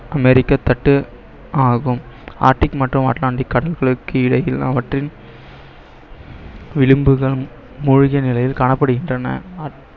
அமெரிக்க தட்டு ஆகும் ஆர்டிக் மற்றும் அட்லாண்டிக் கடல்களுக்கு இடையில் அவற்றில் மூழ்கிய நிலையில் காணப்படுகின்றன